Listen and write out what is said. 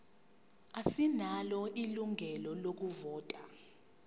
asinalo ilungelo lokuvota